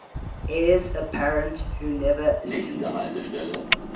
heirs apparent who never acceded